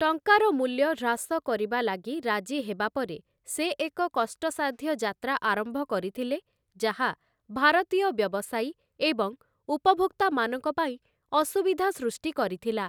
ଟଙ୍କାର ମୂଲ୍ୟ ହ୍ରାସ କରିବା ଲାଗି ରାଜି ହେବା ପରେ ସେ ଏକ କଷ୍ଟସାଧ୍ୟ ଯାତ୍ରା ଆରମ୍ଭ କରିଥିଲେ, ଯାହା ଭାରତୀୟ ବ୍ୟବସାୟୀ ଏବଂ ଉପଭୋକ୍ତାମାନଙ୍କ ପାଇଁ ଅସୁବିଧା ସୃଷ୍ଟି କରିଥିଲା ।